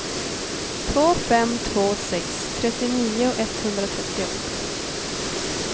två fem två sex trettionio etthundratrettioåtta